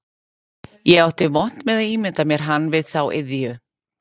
Ég átti vont með að ímynda mér hann við þá iðju